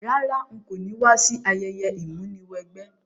Rárá, n ko ni wa si ayẹyẹ ìmúniwẹgbẹ́